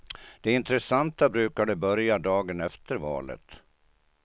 Det intressanta brukade börja dagen efter valet.